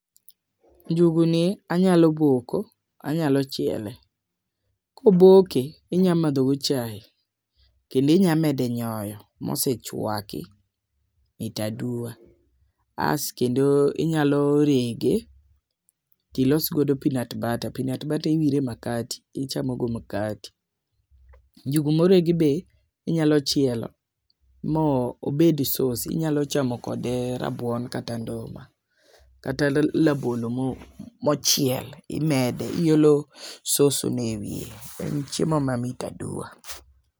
Njugu ni anyalo boko , anyalo chiele . Koboke , inya madho go chai kendi nya mede nyoyo mosechwaki mit aduwa as kendo inyalo rege tilos godo peanut butter, peanut butter iwire makati , ichamo go makati . Njugu moregi be inyalo chielo mo obed sos, inyalo chamo kode rabuon kata nduma kata rabolo mochiel imede, iolo sos no ewiye en chiemo mamit aduwa.